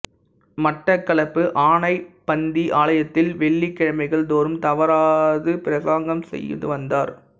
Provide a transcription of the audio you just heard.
மட்டக்களப்பு ஆனைப்பந்தி ஆலயத்தில் வெள்ளிக் கிழமைகள் தோறும் தவறாது பிரசங்கம் செய்துவந்தார்